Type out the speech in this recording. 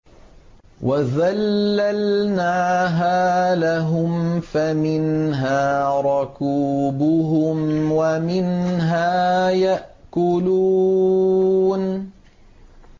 وَذَلَّلْنَاهَا لَهُمْ فَمِنْهَا رَكُوبُهُمْ وَمِنْهَا يَأْكُلُونَ